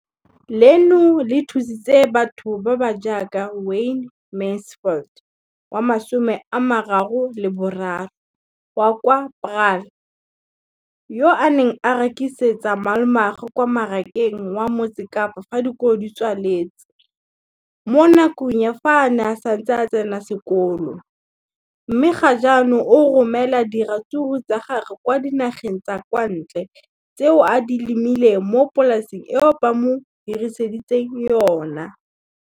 Leno le thusitse batho ba ba jaaka Wayne Mansfield, 33, wa kwa Paarl, yo a neng a rekisetsa malomagwe kwa Marakeng wa Motsekapa fa dikolo di tswaletse, mo nakong ya fa a ne a santse a tsena sekolo, mme ga jaanong o romela diratsuru tsa gagwe kwa dinageng tsa kwa ntle tseo a di lemileng mo polaseng eo ba mo hiriseditseng yona.